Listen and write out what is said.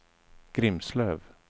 Grimslöv